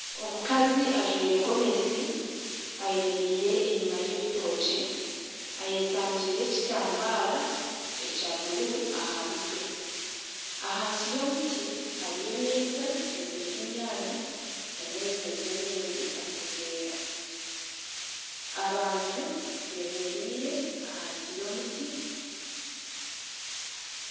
Omukazi ajwaire gomesi ayemereire enyima y'ebitookye eyesangire ekitambara ekya buruu aha mutwe ahansi y'omuti hariyo emeeza eziriho enyaanya na n'ebintu ebindi omu buveera abantu bemereire ahansi y'omuti